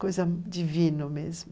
Coisa divina mesmo.